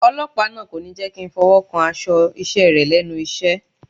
Ọlọ́pàá náà kò ní jẹ́kí ń fọwọ́ kan aṣọ iṣẹ́ rẹ̀ lẹ́nu iṣẹ́.